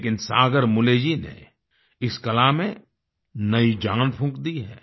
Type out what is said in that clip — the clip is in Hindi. लेकिन सागर मुले जी ने इस कला में नई जान फूँक दी है